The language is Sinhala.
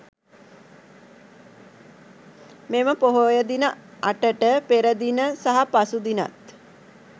මෙම පොහොය දින අටට පෙර දින සහ පසු දිනත්